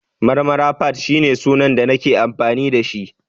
Marmara_fadd ne sunan da nake amfani da shi